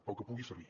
pel que pugui servir